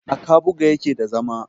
a kabuga yake da zama